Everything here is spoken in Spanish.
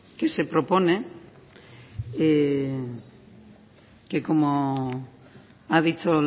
que se propone que como ha dicho